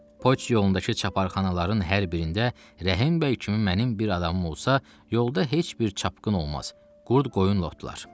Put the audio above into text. Poçt yolundakı çaparxanaların hər birində Rəhim bəy kimi mənim bir adamım olsa, yolda heç bir çapkın olmaz, qurd qoyun otlar.